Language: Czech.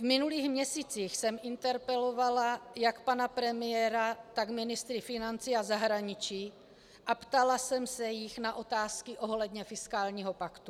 V minulých měsících jsem interpelovala jak pana premiéra, tak ministry financí a zahraničí a ptala jsem se jich na otázky ohledně fiskálního paktu.